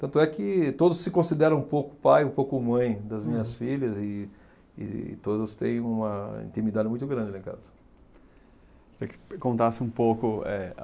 Tanto é que todos se consideram um pouco pai, um pouco mãe das minhas filhas e e todos têm uma intimidade muito grande lá em casa. Queria que contasse um pouco eh